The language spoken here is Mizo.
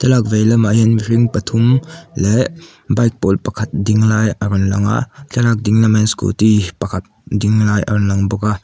thlalak vei lamah hian mihring pathum leh bike pawl pakhat ding lai a rawn lang a thlalak ding lamah hian scooty pakhat ding lai a rawn lang bawk a.